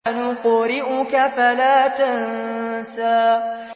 سَنُقْرِئُكَ فَلَا تَنسَىٰ